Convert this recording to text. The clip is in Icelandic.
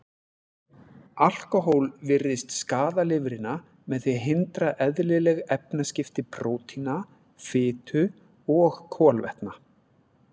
Alkóhól virðist skaða lifrina með því að hindra eðlileg efnaskipti prótína, fitu og kolvetna.